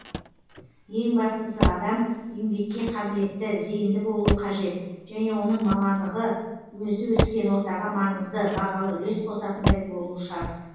ең бастысы адам еңбекке қабілетті зейінді болуы қажет және оның мамандығы өзі өскен ортаға маңызды бағалы үлес қосатындай болуы шарт